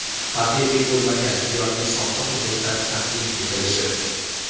haqiqiy bo‘lmagan yoki soxta hujjatlar taqdim etilishi;.